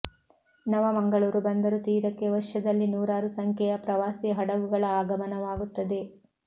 ನವ ಮಂಗಳೂರು ಬಂದರು ತೀರಕ್ಕೆ ವರ್ಷದಲ್ಲಿ ನೂರಾರು ಸಂಖ್ಯೆಯ ಪ್ರವಾಸಿ ಹಡಗುಗಳ ಆಗಮನವಾಗುತ್ತದೆ